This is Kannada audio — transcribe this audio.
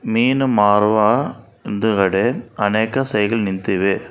ಮೀನ ಮಾರುವ ವಂದಗಡೆ ಅನೇಕ ಸೈಲು ನಿಂತಿವೆ.